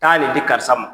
Taa nin di karisa ma